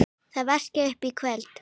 Þið vaskið upp í kvöld